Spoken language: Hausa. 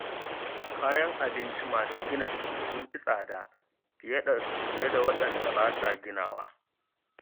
Kayan abinci masu gina jiki sun fi tsada fiye da waɗanda ba sa ginawa.